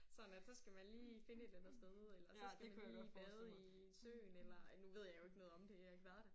Sådan at så skal man lige finde et eller andet sted eller så skal man lige bade i søen eller ej nu ved jeg jo ikke noget om det jeg har ikke været der